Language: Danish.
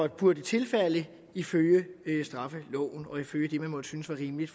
burde tilfalde en ifølge straffeloven og ifølge det måtte synes var rimeligt